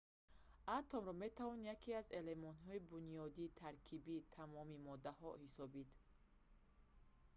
атомро метавон яке аз элементҳои бунёдии таркибии тамоми моддаҳо ҳисобид